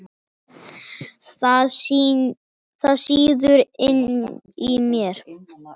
Það sýður inni í mér.